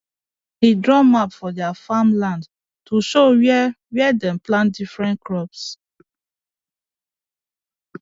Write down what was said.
he draw map for their farm land to show where where dem plant different crops